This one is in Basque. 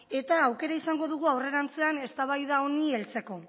eta aukera izango dugu aurrerantzean eztabaida honi heltzeko